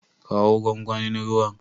Kawo gwangwanin ruwan.